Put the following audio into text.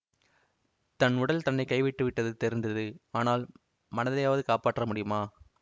தன் உடல் தன்னை கைவிட்டுவிட்டது தெரிந்தது ஆனால் மனத்தையாவது காப்பாற்ற முடியுமா